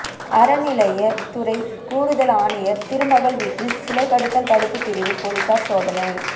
அறநிலையத்துறை கூடுதல் ஆணையர் திருமகள் வீட்டில் சிலைகடத்தல் தடுப்புபிரிவு போலீசார் சோதனை